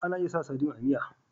Ana iya sa sadin a miya